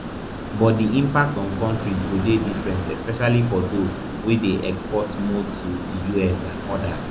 but di impact on kontris go dey different especially for dose wey dey export more to di us than odas